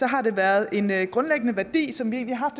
har været en grundlæggende værdi som vi egentlig har